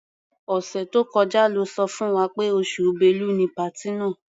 Ọ̀sẹ̀ tó kọjá lọ́ sọ fún wa pé oṣù Bẹ́lu ni patí náà.